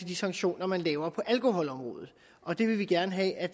de sanktioner man laver på alkoholområdet og det vil vi gerne have at